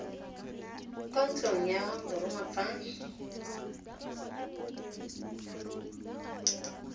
kwa ntlong ya borongwa fa